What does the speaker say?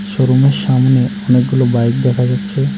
শোরুমের সামনে অনেকগুলো বাইক দেখা যাচ্ছে।